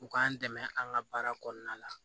U k'an dɛmɛ an ka baara kɔnɔna la